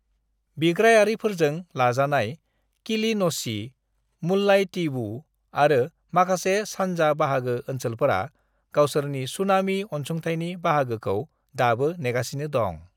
"बिग्रायारिफोरजों लाजानाय किलिन'ची, मुल्लाइतीवू आरो माखासे सान्जा बाहागो ओनसोलफोरा गावसोरनि सुनामी अनसुंथाइनि बाहागोखौ दाबो नेगासिनो दं।"